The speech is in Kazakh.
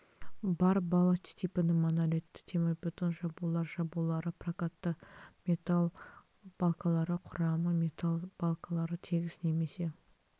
бар балоч типінің монолитті темірбетон жабулар жабулары прокатты металл балкалары құрамы металл балкалары тегіс немесе